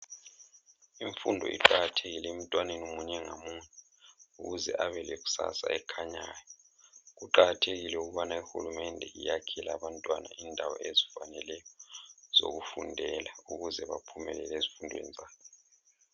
Imfundo iqakathekile emntwaneni munye ngamunye ukuze abelekusasa ekhanyayo. Kuqakathekile ukubana iHulumende yakhele abantwana indawo ezifaneleyo zokufundela ukuze baphumelele ezifundweni zabo